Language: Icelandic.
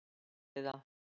Rædduð þið það?